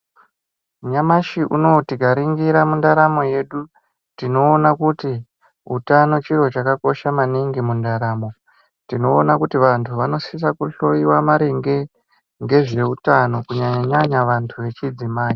Nyamashi unono tikaningira mundaramo yedu tinoona kuti utano chiro chakakosha maningi mundaramo tinoona kuti vantu vanosisa kuhlowyiwa maringe ngezveutano kunyanyanyanya vantu vechidzimai.